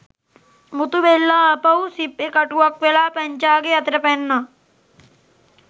මුතු බෙල්ලා ආපහු සිප්පි කටුවක් වෙලා පැංචාගේ අතට පැන්නා.